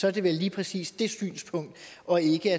er det vel lige præcis det synspunkt og ikke